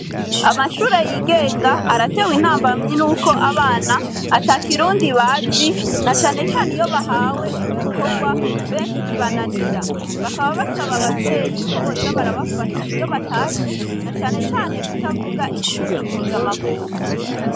Amashure yigenga, aratewe intambamyi n'uko abana, ata kirundi bazi, na canecane iyo bahawe ibikorwa, benshi bibananira; bakaba basaba abavyeyi, ko boza barabafasha iyo batashe, na cane cane kutavuga ikirimi mpuzamakungu.